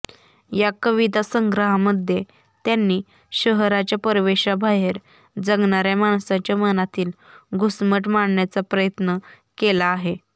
या कविता संग्रहामध्ये त्यांनी शहराच्या परिवेशाबाहेर जगणार्या माणसाच्या मनातील घुसमट मांडण्याचा प्रयत्न केला आहे